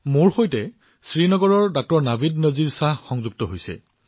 মোৰ সৈতে শ্ৰীনগৰৰ ডাঃ নাভিদ নাজিৰ শ্বাহে যোগদান কৰিছে